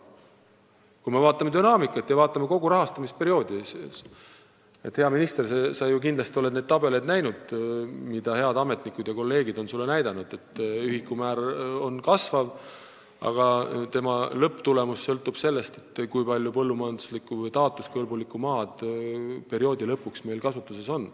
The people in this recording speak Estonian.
Kui me vaatame dünaamikat ja kogu rahastamisperioodi, siis, hea minister, sa oled ju kindlasti näinud neid tabeleid, mida head ametnikud ja kolleegid on sulle näidanud: ühikumäär kasvab, aga lõpptulemus sõltub sellest, kui palju põllumajanduslikku või taotluskõlbulikku maad meil perioodi lõpuks kasutuses on.